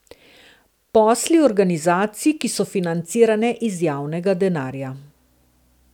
Posli organizacij, ki so financirane iz javnega denarja.